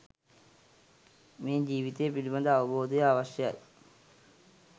මේ ජීවිතය පිළිබඳ අවබෝධය අවශ්‍යයි.